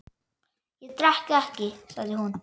Ég drekk ekki, sagði hún.